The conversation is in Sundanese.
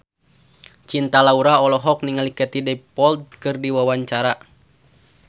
Cinta Laura olohok ningali Katie Dippold keur diwawancara